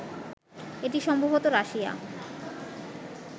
এটি সম্ভবত রাশিয়া